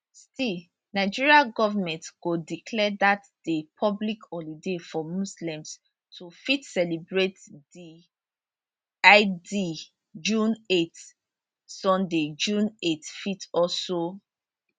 still nigeria goment go declare dat day public holiday for muslims to fit celebrate di id june 8 sunday june 8 fit also